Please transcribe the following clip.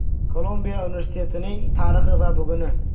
Kolumbiya universitetining tarixi va buguni.